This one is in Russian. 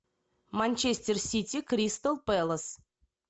манчестер сити кристал пэлас